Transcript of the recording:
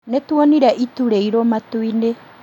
Nĩtuonire itu rĩiruũ matu-inĩ